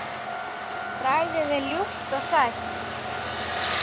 Bragðið er ljúft og sætt.